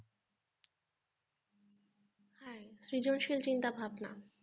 সৃজনশীল চিন্তা ভাবনা